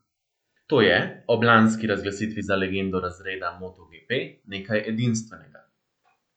To je, ob lanski razglasitvi za legendo razreda motoGP, nekaj edinstvenega.